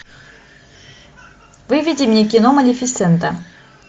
выведи мне кино малефисента